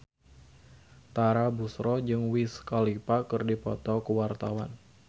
Tara Basro jeung Wiz Khalifa keur dipoto ku wartawan